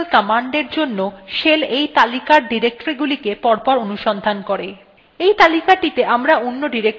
we তালিকাটিতে আমরা অন্য directory ও যোগ করতে পারি যাতে shell সেই directoryতেও কমান্ড অনুসন্ধান করে